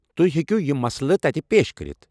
تُہۍ ہیكِو یم مسلہٕ تتہِ پیش كرِتھ۔